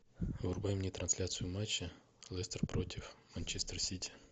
врубай мне трансляцию матча лестер против манчестер сити